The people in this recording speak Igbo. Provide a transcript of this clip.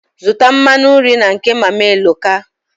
Zụta mmanụ nri na nke Mama Eloka.